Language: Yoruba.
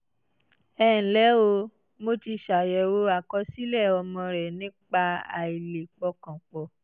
ẹ ǹlẹ́ o! mo ti ṣàyẹ̀wò àkọsílẹ̀ ọmọ rẹ nípa àìlè pọkàn pọ̀